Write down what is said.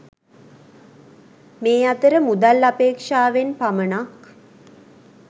මේ අතර මුදල් අපේක්‍ෂාවෙන් පමණක්